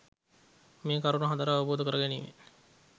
මේ කරුණු හතර අවබෝධ කර ගැනීමෙන්